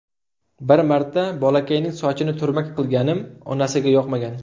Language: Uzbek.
Bir marta bolakayning sochini turmak qilganim onasiga yoqmagan.